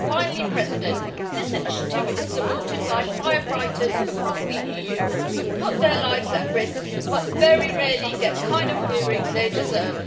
Finally, this initiative is supported by firefighters across the EU who put their lives at risk, but very rarely get the kind of hearing they deserve.